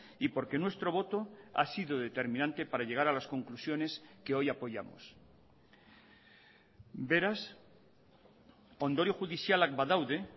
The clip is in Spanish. y porque nuestro voto ha sido determinante para llegar a las conclusiones que hoy apoyamos beraz ondorio judizialak badaude